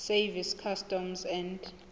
service customs and